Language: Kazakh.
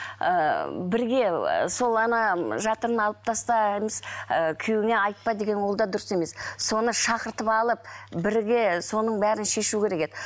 ыыы бірге ы сол жатырын алып тастаймыз ыыы күйеуіңе айтпа деген ол да дұрыс емес соны шақыртып алып бірге соның бәрін шешу керек еді